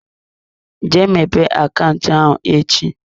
Jee mepee akaụntụ ahụ echi.